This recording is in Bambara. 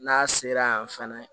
N'a sera yan fɛnɛ